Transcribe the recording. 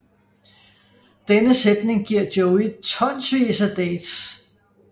Denne sætning giver Joey tonsvis af dates